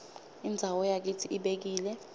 indzawo yakitsi ibekile